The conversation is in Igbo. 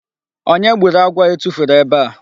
Onye gburu agwọ a etufuru ebe a?